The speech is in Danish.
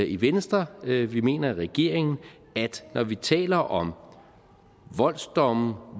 i venstre vi vi mener i regeringen at når vi taler om voldsdomme